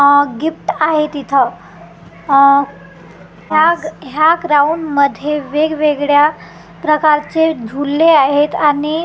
अ gift आहेत इथं अ ह्या ग ह्या ग्राऊंडमध्ये वेगवेगळ्या प्रकारचे झुले आहेत आणि--